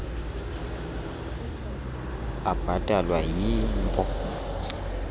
abhatalwa yii npo